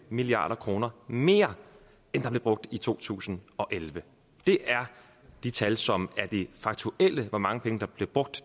milliard kroner mere end der blev brugt i to tusind og elleve det er de tal som er de faktuelle hvor mange penge der blev brugt